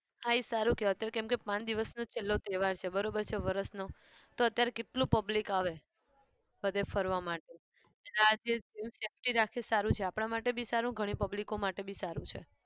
હા એ સારું કહેવાય કેમ કે પાચ દિવસનો છેલ્લો તહેવાર છે બરોબર છે વર્ષનો તો અત્યારે કેટલું public આવે બધે ફરવા માટે જેમ safety રાખે સારું છે આપણા માટે બી સારું ગણી public માટે બી સારું છે.